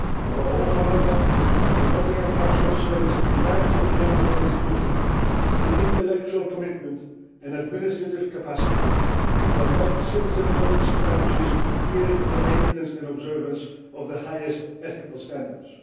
Above all, however, promoting a culture of service demands of the Ombudsman institution the intellectual commitment and administrative capacity to adopt citizen focused strategies geared to the maintenance and observance of the highest ethical standards.